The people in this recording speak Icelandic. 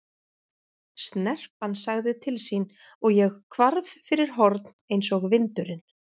Snerpan sagði til sín og ég hvarf fyrir horn eins og vindurinn.